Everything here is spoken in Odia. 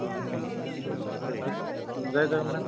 ଜୟ ଜଗନ୍ନାଥ